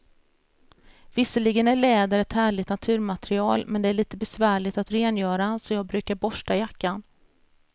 Visserligen är läder ett härligt naturmaterial, men det är lite besvärligt att rengöra, så jag brukar borsta jackan.